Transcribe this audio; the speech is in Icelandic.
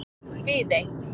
Viðey